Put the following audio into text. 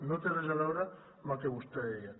no té res a veure amb el que vostè deia